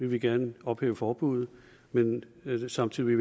vi gerne vil ophæve forbuddet men at vi samtidig